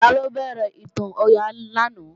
Taló béèrè ìtàn Ọya lánàá?